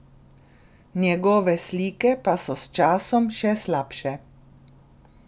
Njegove slike pa so s časom še slabše!